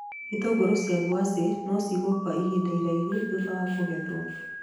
Itũngũrũ cia ngwacĩ no cigwo kwa ihinda iraihu thutha wa kũgethwo